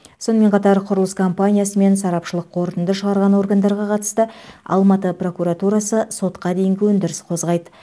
сонымен қатар құрылыс компаниясы мен сарапшылық қорытынды шығарған органдарға қатысты алматы прокуратурасы сотқа дейінгі өндіріс қозғайды